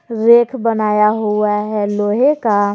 rake बनाया हुआ है लोहे का--